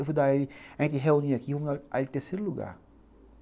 Eu vou dar ele, a gente reúne aqui, vamos dar ele terceiro lugar.